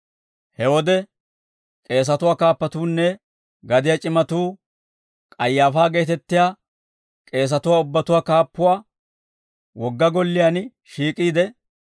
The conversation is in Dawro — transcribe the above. He wode k'eesatuwaa kaappatuunne gadiyaa c'imatuu K'ayaafaa geetettiyaa k'eesatuwaa ubbatuwaa kaappuwaa wogga golliyaan shiik'iide,